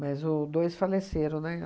Mas o dois faleceram, né?